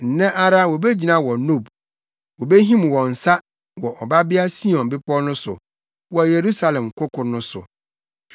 Nnɛ ara wobegyina wɔ Nob; wobehim wɔn nsa wɔ Ɔbabea Sion bepɔw no so, wɔ Yerusalem koko no so.